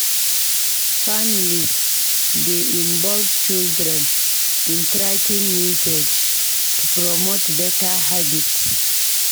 Families dey involve children in tracking usage to promote beta habits.